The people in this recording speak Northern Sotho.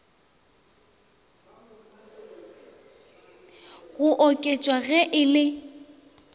go oketšwa ge e le